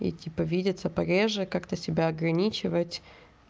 и типа видится пореже как-то себя ограничивать